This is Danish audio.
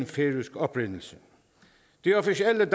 færøsk oprindelse det officielle